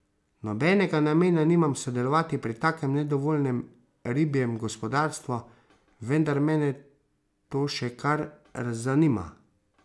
Nobenega namena nimam sodelovati pri takem nedovoljenem ribjem gospodarstvu, vendar mene to še kar zanima.